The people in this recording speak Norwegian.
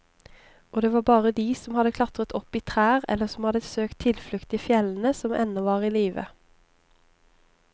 Og det var bare de som hadde klatret opp i trær eller som hadde søkt tilflukt i fjellene, som ennå var i live.